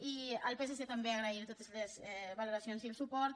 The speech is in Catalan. i al psc també agrair li totes les valoracions i el suport